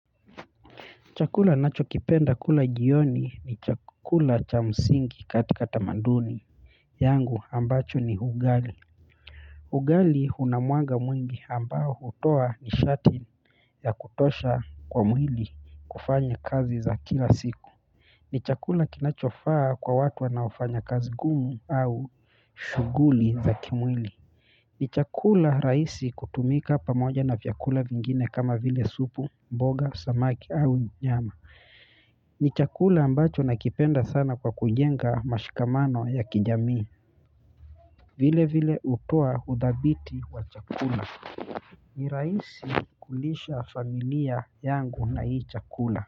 Chakula nachokipenda kula jioni ni chakula cha msingi katika tamaduni yangu ambacho ni ugali ugali una mwanga mwingi ambao hutoa nishati ya kutosha kwa mwili kufanya kazi za kila siku ni chakula kinachofaa kwa watu wanaofanya kazi ngumu au shughuli za kimwili ni chakula rahisi kutumika pamoja na vyakula vingine kama vile supu, mboga, samaki au nyama ni chakula ambacho nakipenda sana kwa kujenga mashikamano ya kijamii vile vile hutoa uthabiti wa chakula ni rahisi kulisha familia yangu na hii chakula.